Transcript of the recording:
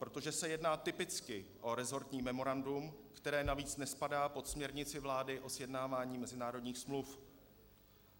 Protože se jedná typicky o resortní memorandum, které navíc nespadá pod směrnici vlády o sjednávání mezinárodních smluv.